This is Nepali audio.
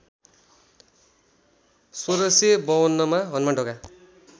१६५२ मा हनुमानढोका